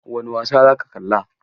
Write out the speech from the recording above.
Wani wasa za ka kalla?